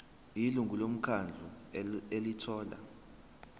ilungu lomkhandlu elithola